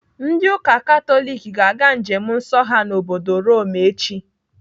Ndị ụka Katọlik ga-aga njem nsọ ha n'obodo Rome echi.